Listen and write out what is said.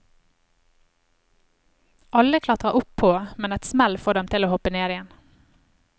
Alle klatrer opp på, men et smell får dem til å hoppe ned igjen.